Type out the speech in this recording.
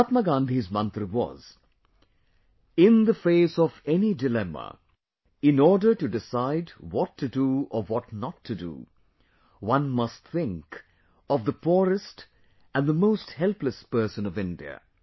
Mahatma Gandhi's mantra was...in the face of any dilemma, in order to decide what to do or what not to do, one must think of the poorest and the most helpless person of India